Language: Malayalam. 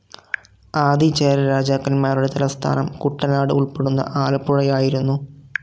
ആദിചേരരാജാക്കന്മാരുടെ തലസ്ഥാനം കുട്ടനാട് ഉൾപ്പെടുന്ന ആലപ്പുഴയായിരുന്നു.